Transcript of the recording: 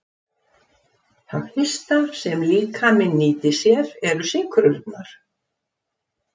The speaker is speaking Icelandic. Það fyrsta sem líkaminn nýtir sér eru sykrurnar.